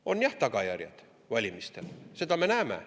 On jah tagajärjed valimistel, seda me näeme.